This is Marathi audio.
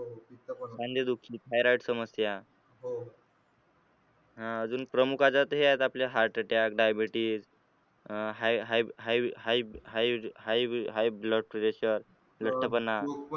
thyroide समस्या हा अजून प्रमुख आजार तर हे आहेत आपले heart attackdaibetes अह highhighhighhighhigh h blood pressure लठ्ठपणा